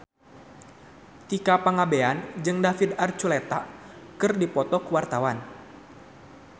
Tika Pangabean jeung David Archuletta keur dipoto ku wartawan